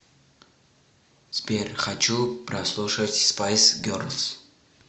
сбер хочу прослушать спайс герлз